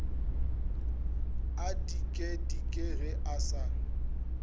a dikedike ge a sa